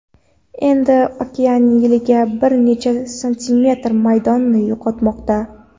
Endi okean yiliga bir necha santimetr maydonini yo‘qotmoqda.